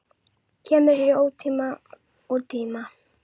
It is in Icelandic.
Kemur hér í tíma og ótíma.